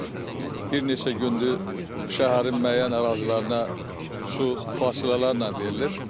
Artıq bir neçə gündür şəhərin müəyyən ərazilərinə su fasilələrlə verilir.